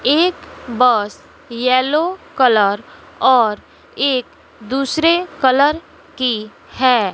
एक bus yellow colour और एक दूसरे कलर की है।